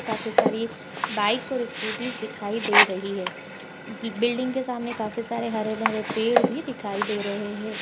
''काफी सारी बाइक्स और स्कूटीस दिखाई दे रही है बिल्डिंग के सामने काफी सारे हरे-भरे पेड़ भी दिखाई दे रहे है।''